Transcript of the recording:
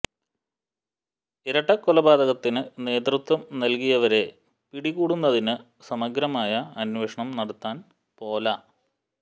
ഇരട്ടകൊലപാതകത്തിന് നേതൃത്വം നൽകിയവരെ പിടികൂടുന്നതിന് സമഗ്രമായ അന്വേഷണം നടത്താൻ പൊല